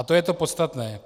A to je to podstatné.